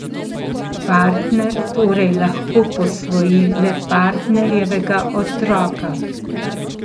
Partner torej lahko posvoji le partnerjevega otroka.